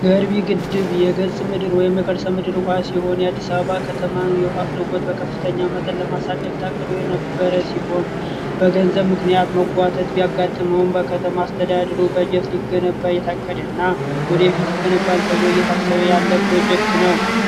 ገርቢ ግድብ የከርሰ ምድር ውሃ ሲሆን በአዲስ አበባ የውሃ አቅርቦት በከፍተኛ ሁኔታ ለማሳደግ ታቅዶ የነበረ ሲሆን በገንዘብ ምክንያት መጓተት ሊያጋጥመውን በከተማ አስተዳደሩ ሊገነባ የታቀደና ወደፊት ይገነባል ተብሎ እየታሰበ ያለ ፕሮጀክት ነው።